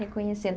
Reconhecendo.